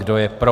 Kdo je pro?